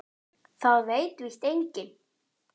Það veit víst enginn.